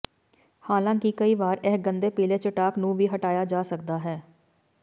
ਹਾਲਾਂਕਿ ਕਈ ਵਾਰੀ ਇਹ ਗੰਦੇ ਪਿਲੇ ਚਟਾਕ ਨੂੰ ਵੀ ਹਟਾਇਆ ਜਾ ਸਕਦਾ ਹੈ